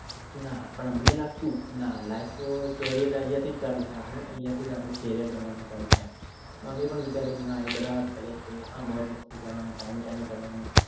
ના પણ અમને લાગતું ના lifecarrierl આપણું અહિયાંથી જ ચાલુ થાય અહીંયા થી જ આપણું carrier બનવાનું ચાલુ થાય અમે પણ વિચારીયે એ